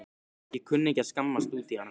Ég kunni ekki að skammast út í hana.